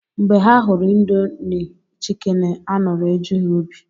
Mgbe ha hụrụ Indomi chikeni aṅụrị eju ha obi